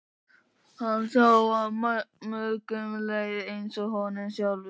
Hann sá að mörgum leið eins og honum sjálfum.